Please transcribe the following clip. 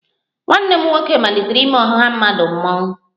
Nwanne m nwoke malitere n'ime ọha mmadụ mmọnwụ